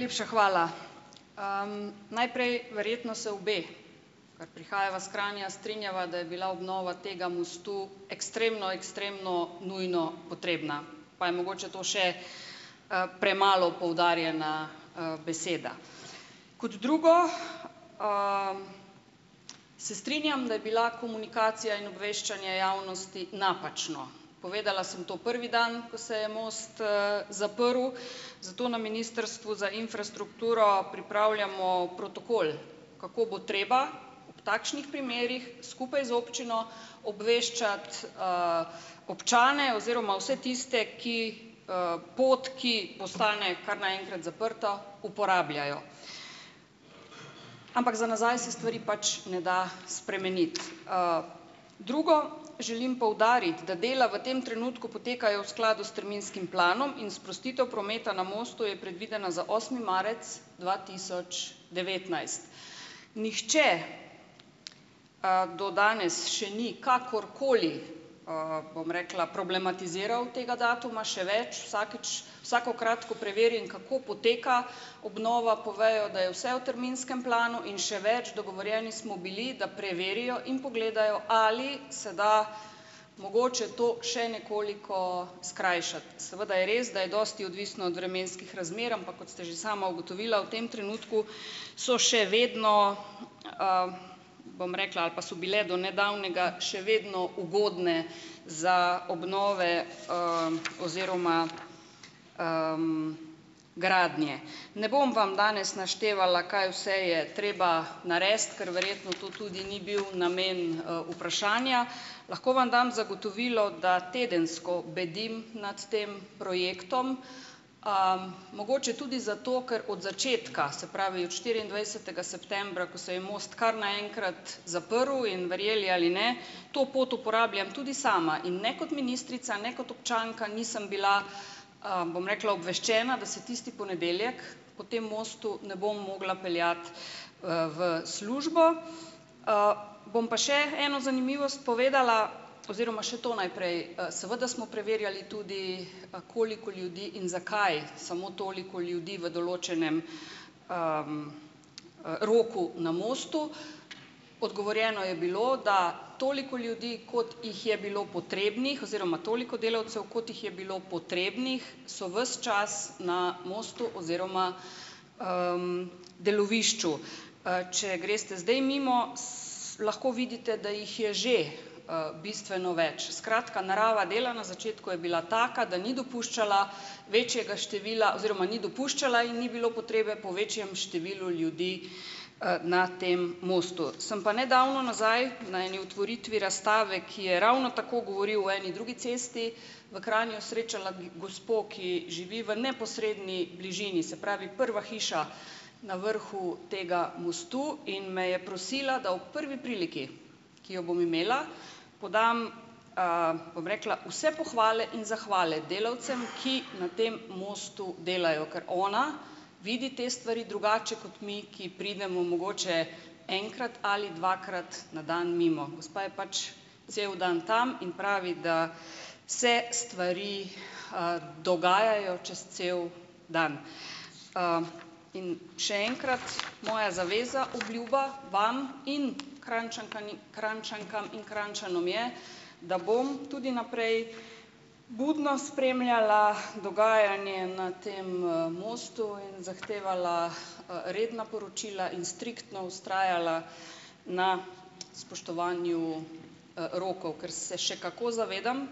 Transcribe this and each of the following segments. Najlepša hvala! Najprej, verjetno se obe, ker prihajava iz Kranja, strinjava, da je bila obnova tega mostu ekstremno, ekstremno nujno potrebna, pa je mogoče to še, premalo poudarjena, beseda. Kot drugo, se strinjam, da je bila komunikacija in obveščanje javnosti napačno. Povedala sem to prvi dan, ko se je, most zaprl, zato na ministrstvu za infrastrukturo pripravljamo protokol, kako bo treba ob takšnih primerih skupaj z občino obveščati, občane oziroma vse tiste, ki, pot, ki postane kar naenkrat zaprta, uporabljajo. Ampak za nazaj se stvari pač ne da spremeniti. Drugo, želim poudariti, da dela v tem trenutku potekajo v skladu s terminskim planom in sprostitev prometa na mostu je predvidena za osmi marec dva tisoč devetnajst. Nihče, do danes še ni kakorkoli, bom rekla, problematiziral tega datuma, še več, vsakič, vsakokrat, ko preverim, kako poteka obnova, povejo, da je vse v terminskem planu, in še več, dogovorjeni smo bili, da preverijo in pogledajo, ali se da mogoče to še nekoliko skrajšati. Seveda je res, da je dosti odvisno od vremenskih razmer, ampak kot ste že sama ugotovila, v tem trenutku so še vedno, bom rekla, ali pa so bile do nedavnega, še vedno ugodne za obnove, oziroma, gradnje. Ne bom vam danes naštevala, kaj vse je treba narediti, ker verjetno to tudi ni bil namen, vprašanja. Lahko vam dam zagotovilo, da tedensko bedim nad tem projektom, mogoče tudi zato, ker od začetka, se pravi od štiriindvajsetega septembra, ko se je most kar naenkrat zaprl, in verjeli ali ne, to pot uporabljam tudi sama, in ne kot ministrica ne kot občanka nisem bila, bom rekla, obveščena, da se tisti ponedeljek, po tem mostu ne bom mogla peljati, v službo. Bom pa še eno zanimivost povedala oziroma še to najprej, seveda smo preverjali tudi, koliko ljudi in zakaj samo toliko ljudi v določenem, roku na mostu. Odgovorjeno je bilo, da toliko ljudi, kot jih je bilo potrebnih, oziroma toliko delavcev, kot jih je bilo potrebnih, so ves čas na mostu oziroma, delovišču. Če greste zdaj mimo, lahko vidite, da jih je že, bistveno več, skratka, narava dela na začetku je bila taka, da ni dopuščala večjega števila oziroma ni dopuščala in bilo potrebe po večjem številu ljudi, na tem mostu. Sem pa nedavno nazaj, na eni otvoritvi razstave, ki je ravno tako govoril o eni drugi cesti, v Kranju srečala kje gospo, ki živi v neposredni bližini, se pravi, prva hiša na vrhu tega mostu, in me je prosila, da ob prvi priliki, ki jo bom imela, podam, bom rekla, vse pohvale in zahvale delavcem, ki na tem mostu delajo, ker ona vidi te stvari drugače kot mi, ki pridemo mogoče enkrat ali dvakrat na dan mimo. Gospa je pač cel dan tam in pravi, da se stvari, dogajajo čez cel dan. In še enkrat, moja zaveza, obljuba vam in Kranjčankani, Krajnčankam in Krajnčanom je, da bom tudi naprej budno spremljala dogajanje na tem, mostu in zahtevala, redna poročila in striktno vztrajala na spoštovanju, rokov, ker se še kako zavedam,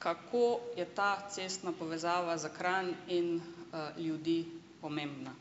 kako je ta cestna povezava za Kranj in, ljudi pomembna.